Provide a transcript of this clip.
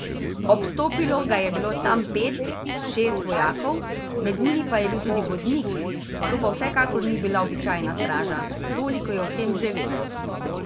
Obstopilo ga je bilo tam pet, šest vojakov, med njimi pa je bil tudi vodnik, to pa vsekakor ni bila običajna straža, toliko je o tem že vedel.